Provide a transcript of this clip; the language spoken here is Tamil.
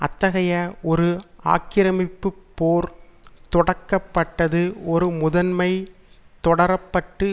அத்தகைய ஒரு ஆக்கிரமிப்புப்போர் தொடக்கப்பட்டது ஒரு முதன்மை தொடரப்பட்டு